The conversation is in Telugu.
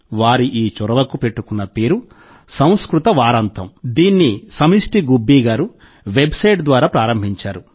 వారి ఈ చొరవకు పెట్టుకున్న పేరు - సంస్కృత వారాంతం దీన్ని సమష్టి గుబ్బీ గారు వెబ్సైట్ ద్వారా ప్రారంభించారు